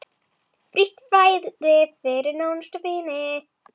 Frítt fæði fyrir nánustu vini.